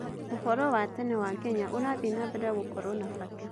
ũhoro wa tene wa Kenya ũrathiĩ na mbere gũkorwo na bata.